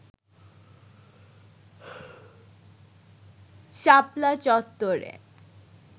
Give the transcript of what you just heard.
শাপলা চত্বরে